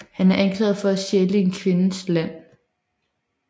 Han er anklaget for at stjæle en kvindes land